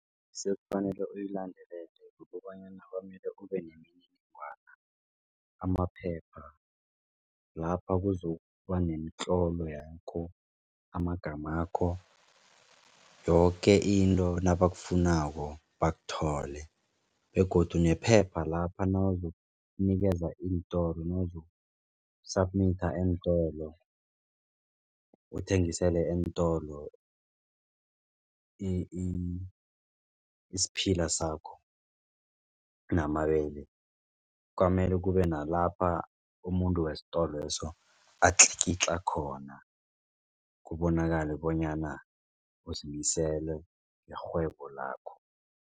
Sekufanele uyilandelele amaphepha lapha kuzokuba nemitlolo yakho amagamakho. Yoke into nabakufunako bakuthole begodu nephepha lapha nawuzokunikeza iintolo nawuzoku-submit eentolo. Uthengisele eentolo isiphila sakho namabele kwamele kube nalapha umuntu wesitolo leso atlikitla khona kubonakale bonyana uzimisele irhwebo lakho.